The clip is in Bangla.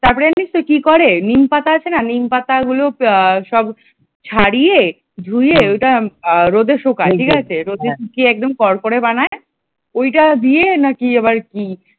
তারপর জানিস কি করে নিমপাতা আছে না? নিম পাতা পাতাগুলো সব ছাড়িয়ে ধুয়ে , ওইটা সব রোদে শুকায় ঠিক আছে ? রোদের শুকিয়ে একদম করকরে বানাই । ওটা দিয়ে নাকি আবার কি